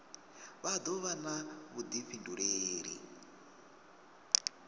vha do vha na vhudifhinduleli